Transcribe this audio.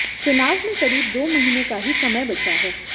चुनाव में क़रीब दो महीने का ही समय बचा है